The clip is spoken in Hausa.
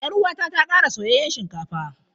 Yar uwata ta kara soyayyen shinkafa.